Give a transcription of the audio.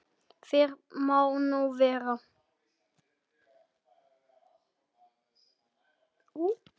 Fyrr má nú vera!